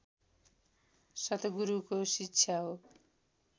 सतगुरूको शिक्षा हो